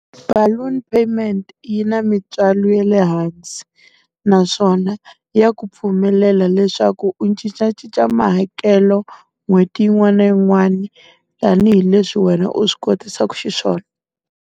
Baloon payment yi na mintswalo ya le hansi, naswona ya ku pfumelela leswaku u cincacinca mahakelo n'hweti yin'wana na yin'wana, tanihileswi wena u swi kotisaku xiswona.